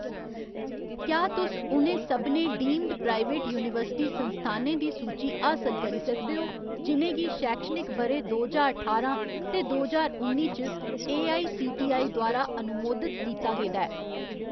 क्या तुस उ'नें सभनें डीम्ड प्राइवेट यूनिवर्सिटी संस्थानें दी सूची हासल करी सकदे ओ जि'नें गी शैक्षणिक ब'रे दो ज्हार ठारां ते दो ज्हार उन्नी च एआईसीटीई द्वारा अनुमोदत कीता गेदा ऐ ?